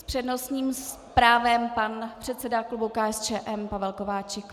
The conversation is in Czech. S přednostním právem pan předseda klubu KSČM Pavel Kováčik.